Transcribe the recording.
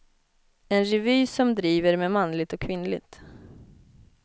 En revy som driver med manligt och kvinnligt.